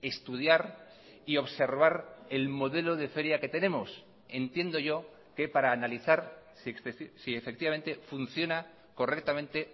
estudiar y observar el modelo de feria que tenemos entiendo yo que para analizar si efectivamente funciona correctamente